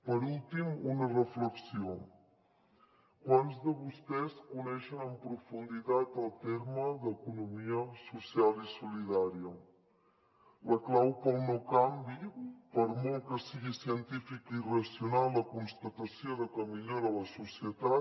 per últim una reflexió quants de vostès coneixen en profunditat el terme economia social i solidària la clau per al no canvi per molt que sigui científica i racional la constatació de que millora la societat